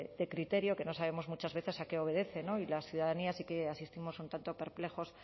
de criterio que no sabemos muchas veces a qué obedece y las ciudadanías sí que asistimos un tanto perplejos